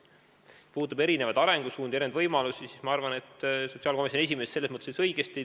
Mis puudutab erinevaid arengusuundi, erinevaid võimalusi, siis ma arvan, et sotsiaalkomisjoni esimees ütles õigesti.